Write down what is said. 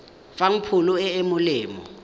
fang pholo e e molemo